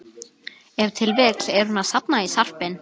Ef til vill er hún að safna í sarpinn.